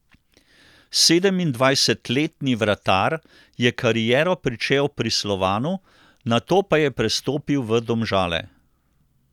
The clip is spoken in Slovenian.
Sedemindvajsetletni vratar je kariero pričel pri Slovanu, nato pa je prestopil v Domžale.